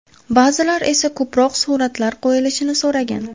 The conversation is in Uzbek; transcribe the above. Ba’zilar esa ko‘proq suratlar qo‘yilishini so‘ragan.